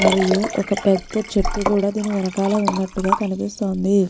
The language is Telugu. మరియు ఒక్క పెద్ద చెట్టు కూడా దీని వెనకాల వున్నటుగా కనిపిస్తోంది.